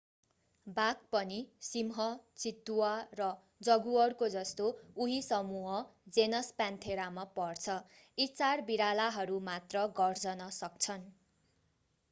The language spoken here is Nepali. बाघ पनि सिंह चितुवा र जगुअरको जस्तो उही समूह जेनस प्यान्थेरा मा पर्छ। यी चार बिरालाहरू मात्र गर्जन सक्छन्।